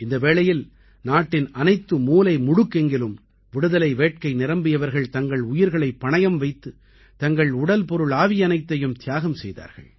இந்த வேளையில் நாட்டின் அனைத்து மூலைமுடுக்கெங்கிலும் விடுதலை வேட்கை நிரம்பியவர்கள் தங்கள் உயிர்களைப் பணயம் வைத்து தங்கள் உடல்பொருள்ஆவியனைத்தையும் தியாகம் செய்தார்கள்